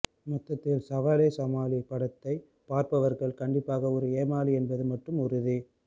மொத்தத்தில் சவாலே சமாளி படத்தை பார்ப்பவர்கள் கண்டிப்பாக ஒரு ஏமாளி என்பது மட்டும் உறுதி